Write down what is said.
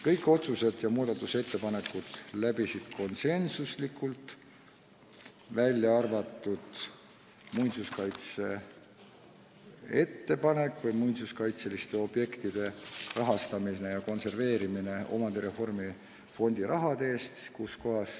Kõik otsused ja muudatusettepanekud kiideti heaks konsensusega, välja arvatud ettepanek rahastada muinsuskaitseliste objektide kordategemist või konserveerimist omandireformi fondi rahaga.